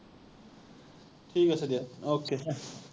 ঠিক আছে দিয়া, okay ।